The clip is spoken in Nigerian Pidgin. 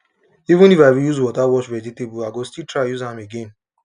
even if i use water wash vegetable i go still try use am again